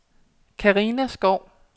Carina Skou